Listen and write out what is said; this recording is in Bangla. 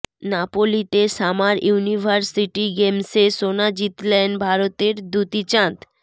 নাপোলিতে সামার ইউনিভার্সিটি গেমসে সোনা জিতলেন ভারতের দ্যুতি চাঁদ